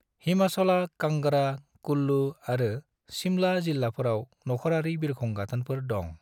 हिमाचलहा कांगड़ा, कुल्लु आरो शिमला जिल्लाफोराव नख'रारि बिरखं गाथोनफोर दं।